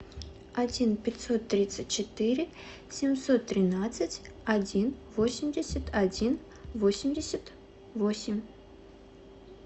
один пятьсот тридцать четыре семьсот тринадцать один восемьдесят один восемьдесят восемь